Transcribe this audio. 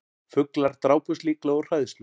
Fuglar drápust líklega úr hræðslu